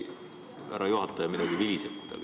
Härra juhataja, midagi viliseb siin.